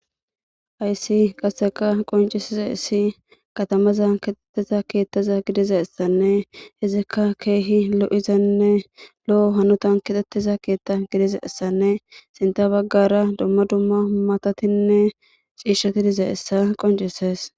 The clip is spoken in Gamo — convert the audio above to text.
Ayssi qasseka qoncisiza issi katamaza kexxettiza keettiza gidiza issanne hizikka keehi lo7izanne lo7o hanutan kexxettiza keetta gidiza issanne sinta baggara dumma dumma humatatinne ciishoti diza issa qoncisees